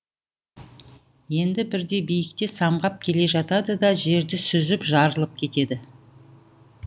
енді бірде биікте самғап келе жатады да жерді сүзіп жарылып кетеді